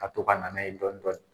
A to ka na n'a ye dɔɔnin dɔɔnin